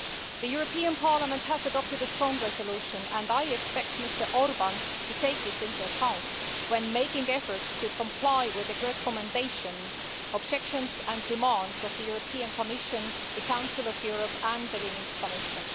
The European Parliament has adopted a strong resolution and I expect Mr Orbán to take it into account when making efforts to comply with the recommendations, objections and demands of the European Commission, the Council of Europe and the Venice Commission.